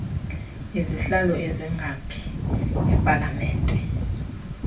izihlalo ezingaphi epalamente